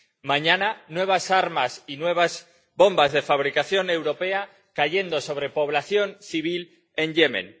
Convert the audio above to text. Mañana, nuevas armas y nuevas bombas de fabricación europea cayendo sobre población civil en Yemen.